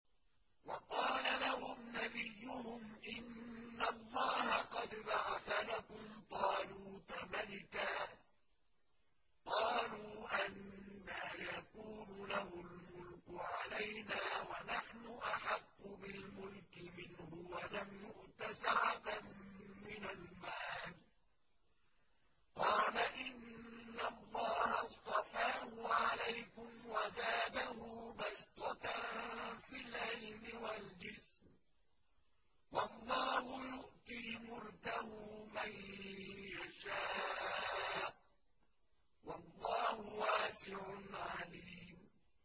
وَقَالَ لَهُمْ نَبِيُّهُمْ إِنَّ اللَّهَ قَدْ بَعَثَ لَكُمْ طَالُوتَ مَلِكًا ۚ قَالُوا أَنَّىٰ يَكُونُ لَهُ الْمُلْكُ عَلَيْنَا وَنَحْنُ أَحَقُّ بِالْمُلْكِ مِنْهُ وَلَمْ يُؤْتَ سَعَةً مِّنَ الْمَالِ ۚ قَالَ إِنَّ اللَّهَ اصْطَفَاهُ عَلَيْكُمْ وَزَادَهُ بَسْطَةً فِي الْعِلْمِ وَالْجِسْمِ ۖ وَاللَّهُ يُؤْتِي مُلْكَهُ مَن يَشَاءُ ۚ وَاللَّهُ وَاسِعٌ عَلِيمٌ